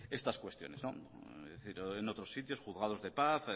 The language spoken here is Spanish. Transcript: estas cuestiones es decir en otros sitios juzgados de paz